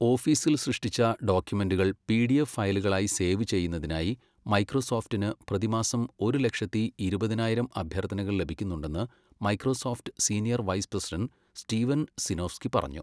ഓഫീസിൽ സൃഷ്ടിച്ച ഡോക്യുമെന്റുകൾ പിഡിഎഫ് ഫയലുകളായി സേവ് ചെയ്യുന്നതിനായി മൈക്രോസോഫ്റ്റിന് പ്രതിമാസം ഒരു ലക്ഷത്തി, ഇരുപതിനായിരം അഭ്യർത്ഥനകൾ ലഭിക്കുന്നുണ്ടെന്ന് Microsoft senior vice president Steven Sinofsky പറഞ്ഞു.